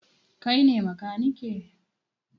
Kai ne makaniki?